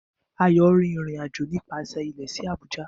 AYO rin irin ajo nipasẹ ilẹ si Abuja